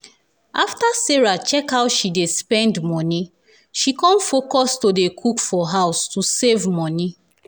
after sarah check how she dey spend money she con focus to dey cook for house to save money.